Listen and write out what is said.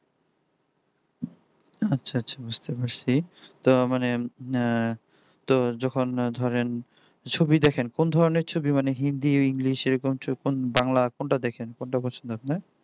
আচ্ছা আচ্ছা বুঝতে পারছি তো মানে আহ তো যখন ন ধরেন ছবি দেখেন কোন ধরনের ছবি মানে হিন্দি ইংলিশ বাংলা কোনটা দেখেন কোনটা পছন্দ আপনার